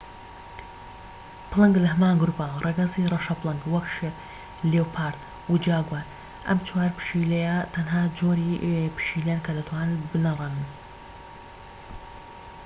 پڵنگ لە هەمان گروپە ڕەگەزی ڕەشە پڵنگ وەک شێر، لیۆپارد، و جاگوار. ئەم چوار پشیلەیە تەنها جۆری پشیلەن کە دەتوانن بنەڕێنن